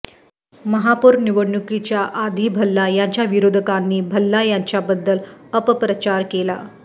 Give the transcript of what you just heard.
महापौर निवडणुकीच्या आधी भल्ला यांच्या विरोधकांनी भल्ला यांच्याबद्दल अपप्रचार केला